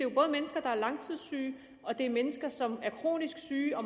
er er langtidssyge og det er mennesker som er kronisk syge og